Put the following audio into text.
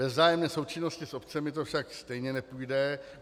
Bez vzájemné součinnosti s obcemi to však stejně nepůjde.